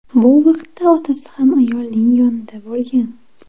Bu vaqtda otasi ham ayolning yonida bo‘lgan.